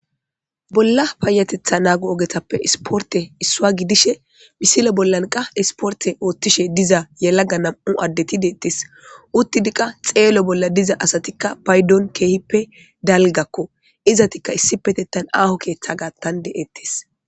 bolla payateththa naggo ogetappe isportey issuwa gidishe misile bollankkaa isporte oottishshe diza yelagga nam'u addetti dettees uttidikka xello bolla diza asatikka paydon keehippe dalgakko izatikka issi petettan aaho keeththa gattan de'ees